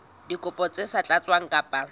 dikopo tse sa tlatswang ka